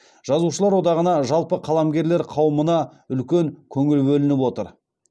жазушылар одағына жалпы қаламгерлер қауымына үлкен көңіл бөлініп отыр